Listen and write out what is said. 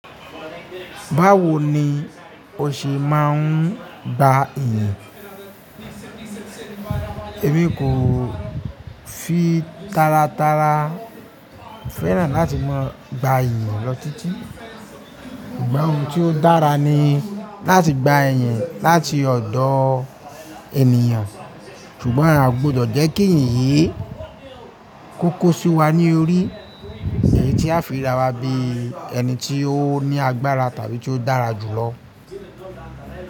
Báwo ni o ṣe máa ń gba ẹ̀yìn? Èmi kò fi tárátárá fẹ́ràn láti mo gba ìyìn lọ títí. Sùgbón oun tí ó dára ni láti gba ìyìn láti ọ̀dọ̀ ènìyàn. Ṣùgbọ́n a gbọdọ̀ jẹ́ kí ìyìn yii kó kó sí wa ní orí, èyí tí a fi rira wa bí ẹni tí ó ní agbára tàbí tí ó dára jù lọ.